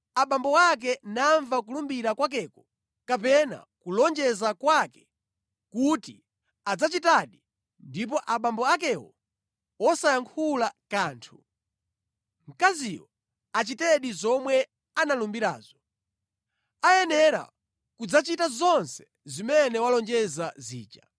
abambo ake namva kulumbira kwakeko kapena kulonjeza kwake kuti adzachitadi, ndipo abambo akewo wosayankhula kanthu, mkaziyo achitedi zomwe analumbirazo. Ayenera kudzachita zonse zimene walonjeza zija.